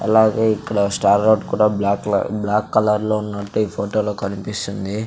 అలాగే ఇక్కడ star road కూడా బ్లాక్ లో బ్లాక్ కలర్ లో ఉన్నట్టు ఈ ఫోటో లో కనిపిస్సుంది.